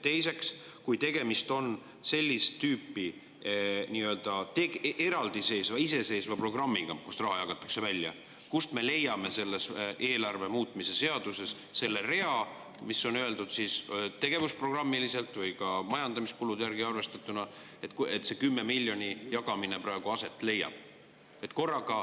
Teiseks: kui tegemist on sellist tüüpi, nii-öelda eraldiseisva, iseseisva programmiga, kust raha jagatakse, siis kust me leiame selles eelarve muutmise seaduses selle rea, kus on öeldud tegevusprogrammiliselt või ka majandamiskulude järgi arvestatuna, et see 10 miljoni jagamine praegu aset leiab?